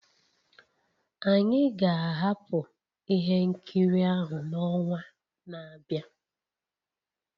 Anyị ga-ahapụ ihe nkiri ahụ n'ọnwa na-abịa